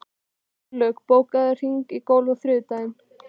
Gunnlaug, bókaðu hring í golf á þriðjudaginn.